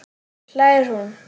hlær hún.